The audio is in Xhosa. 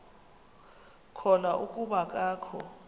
khona kuba akakho